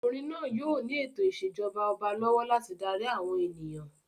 Ọmọkùnrin náà yóò ní ètò ìṣèjọba ọba lọ́wọ́ láti darí àwọn ènìyàn.